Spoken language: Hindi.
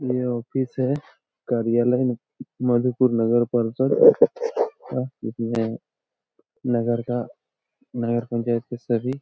ये ऑफिस है। कार्यालय मधुपुर नगर परिषद का जिसमें नगर का नगर पंचायत के सभी --